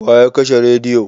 Wa ya kashe rediyo?